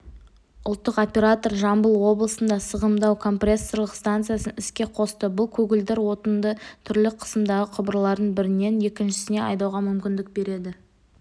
ұлттық оператор жамбыл облысында сығымдау компрессорлық станциясын іске қосты бұл көгілдір отынды түрлі қысымдағы құбырлардың бірінен екіншісіне айдауға мүмкіндік береді